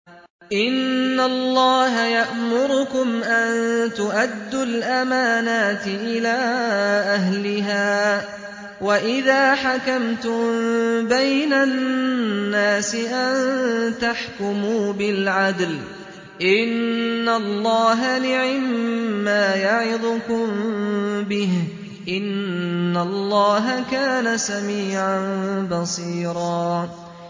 ۞ إِنَّ اللَّهَ يَأْمُرُكُمْ أَن تُؤَدُّوا الْأَمَانَاتِ إِلَىٰ أَهْلِهَا وَإِذَا حَكَمْتُم بَيْنَ النَّاسِ أَن تَحْكُمُوا بِالْعَدْلِ ۚ إِنَّ اللَّهَ نِعِمَّا يَعِظُكُم بِهِ ۗ إِنَّ اللَّهَ كَانَ سَمِيعًا بَصِيرًا